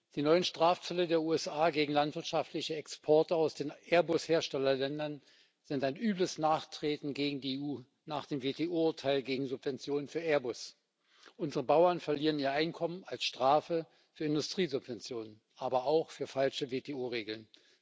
Die neuen Strafzölle der USA gegen landwirtschaftliche Exporte aus den Airbus Herstellerländern sind ein übles Nachtreten gegen die EU nach dem WTO Urteil gegen Subventionen für Airbus. Unsere Bauern verlieren ihr Einkommen als Strafe für Industriesubventionen, aber auch für falsche WTO Regeln.